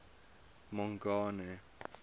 mongane